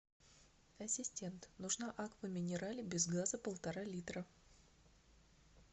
ассистент нужна аква минерале без газа полтора литра